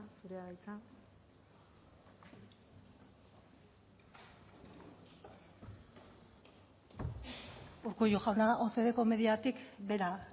zurea da hitza urkullu jauna ocdeko mediatik behera